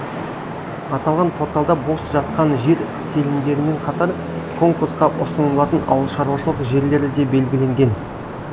аталған порталда бос жатқан жер телімдерімен қатар конкурсқа ұсынылатын ауылшаруашылық жерлері де белгіленген